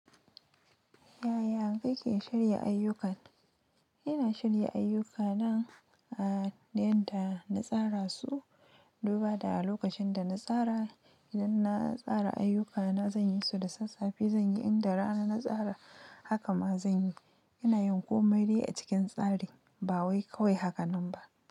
Yaya kake shirya ayyuka? Ina shirya ayyuka na a danta na tsara su, duba da a lokacin da na tsara, idan na tsara ayyukana zan yi su da sassafe, zan yi inda rana na tsara haka ma zan yi. Ina yin komai dai a cikin tsari, ba wai kawai haka nan kawai ba.